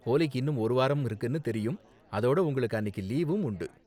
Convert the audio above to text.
ஹோலிக்கு இன்னும் ஒரு வாரம் இருக்குனு தெரியும், அதோட உங்களுக்கு அன்னிக்கு லீவும் உண்டு.